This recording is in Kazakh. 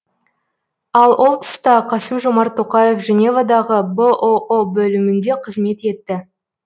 ал ол тұста қасым жомарт тоқаев женевадағы бұұ бөлімінде қызмет етті